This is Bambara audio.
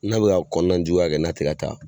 N'a bi ka kɔnɔna juguya kɛ n'a ti ga taa